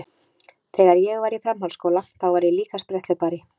Þegar ég var í framhaldsskóla þá var ég líka spretthlaupari.